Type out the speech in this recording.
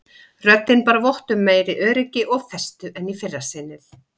Röddin bar vott um meiri öryggi og festu en í fyrra sinnið.